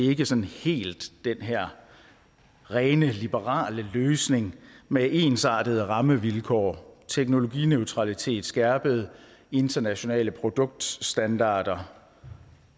ikke sådan helt den her rene liberale løsning med ensartede rammevilkår teknologineutralitet skærpede internationale produktstandarder